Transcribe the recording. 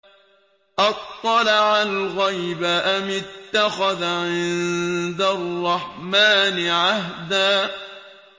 أَطَّلَعَ الْغَيْبَ أَمِ اتَّخَذَ عِندَ الرَّحْمَٰنِ عَهْدًا